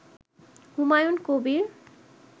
Humayun Kabir